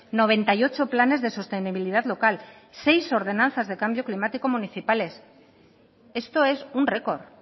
noventa y ocho planes de sostenibilidad local seis ordenanzas de cambio climático municipales esto es un récord